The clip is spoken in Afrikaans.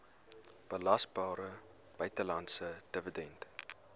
belasbare buitelandse dividend